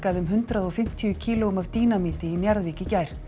um hundrað og fimmtíu kílóum af dínamíti í Njarðvík í gær